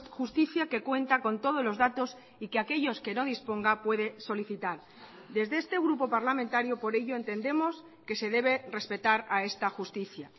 justicia que cuenta con todos los datos y que aquellos que no disponga puede solicitar desde este grupo parlamentario por ello entendemos que se debe respetar a esta justicia